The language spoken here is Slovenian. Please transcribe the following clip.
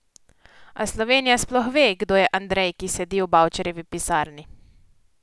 A Slovenija sploh ve, kdo je Andrej, ki sedi v Bavčarjevi pisarni?